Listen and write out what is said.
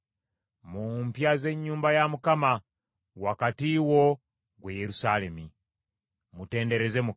mu mpya z’ennyumba ya Mukama ; wakati wo, ggwe Yerusaalemi. Mutendereze Mukama .